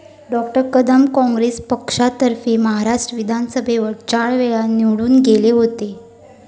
डॉ. कदम काँग्रेस पक्षातर्फे महाराष्ट्र विधानसभेवर चार वेळा निवडून गेले होते.